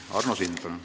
Arno Sild, palun!